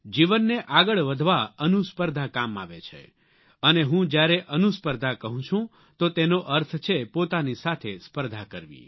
જીવનને આગળ વધવા અનુસ્પર્ધા કામ આવે છે અને હું જ્યારે અનુસ્પર્ધા કહું છું તો તેનો અર્થ છે પોતાની સાથે સ્પર્ધા કરવી